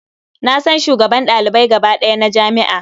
Na san shugaban ɗalibai gaba ɗaya na jami'a.